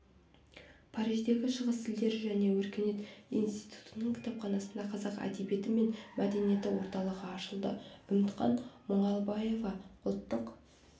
париждегі шығыс тілдері және өркениет институтының кітапханасында қазақ әдебиеті мен мәдениеті орталығы ашылды үмітхан мұналбаева ұлттық